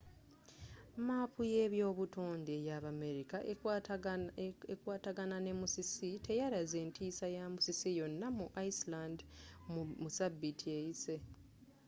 maapu yebyobutonde eyabamerika ekwataagana ne musisi teyalaze ntiisa ya musisi yonna mu iceland mu sabiiti eyise